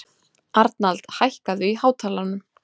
Arnald, hækkaðu í hátalaranum.